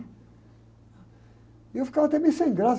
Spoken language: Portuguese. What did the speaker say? E eu ficava até meio sem graça.